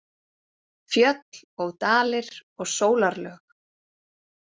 Fjöll og dalir og sólarlög.